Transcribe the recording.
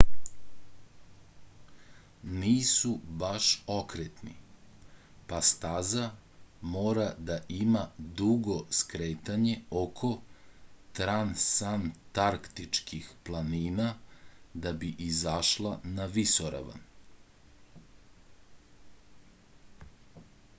nisu baš okretni pa staza mora da ima dugo skretanje oko transantarktičkih planina da bi izašla na visoravan